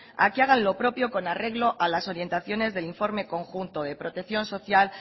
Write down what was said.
a que hagan lo propio con arreglo a las orientaciones del informe conjunto de protección